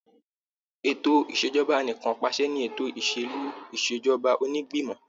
Ètò Ìṣèjọba Anìkanpàṣẹ ni ètò ìsèlú ìṣèjọba onígbìmọ̀.